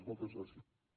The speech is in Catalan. moltes gràcies